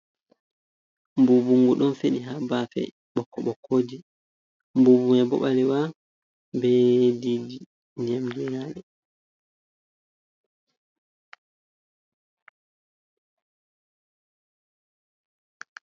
Mbumbu ɗon feɗi ha bafe ɓokko-ɓokkoje. Mbubu nga bo ɓalewa be didi nyamri-nyamre.